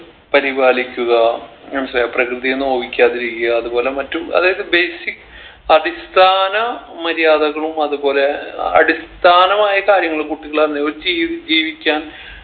പരിപാലിക്കുക മനസിലായ പ്രകൃതിയെ നോവിക്കാതിരിക്കുക അതുപോലെ മറ്റു അതായത് basic അടിസ്ഥാന മര്യാദകളും അതുപോലെ അടിസ്ഥാനമായ കാര്യങ്ങള് കുട്ടികളന്നു ചെയ്യ് ജീവിക്കാൻ